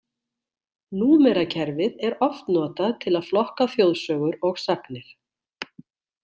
Númerakerfið er oft notað til að flokka þjóðsögur og sagnir.